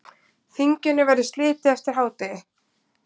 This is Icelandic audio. Þinginu verður slitið eftir hádegi.